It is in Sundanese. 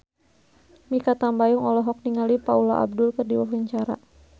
Mikha Tambayong olohok ningali Paula Abdul keur diwawancara